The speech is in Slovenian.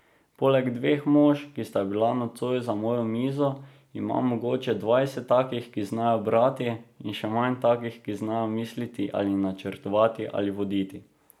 Poleg dveh mož, ki sta bila nocoj za mojo mizo, imam mogoče dvajset takih, ki znajo brati, in še manj takih, ki znajo misliti ali načrtovati ali voditi.